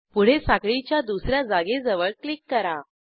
पुढे साखळीच्या दुस या जागेजवळ क्लिक करा